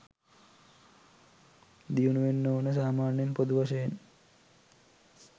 දියුණු වෙන්න ඕනෙ සාමාන්‍යයෙන් පොදු වශයෙන්.